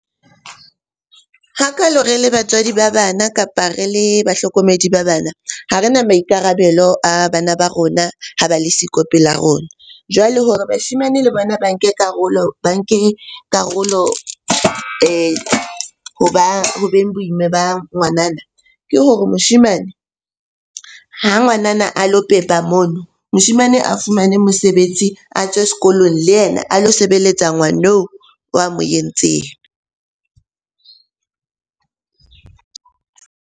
Hakalo re le batswadi ba bana, kapa re le bahlokomedi ba bana. Ha re na maikarabelo a bana ba rona ha ba le siko pela rona. Jwale hore bashemane le bona ba nke karolo, ba nke karolo ho beng bo ima ba ngwanana ke hore moshemane ha ngwanana a lo pepa mono. Moshemane a fumane mosebetsi, a tswe sekolong le yena a lo sebeletsa ngwaneno wa mo entseng.